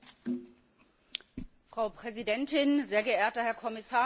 Frau Präsidentin, sehr geehrter Herr Kommissar, meine Damen und Herren!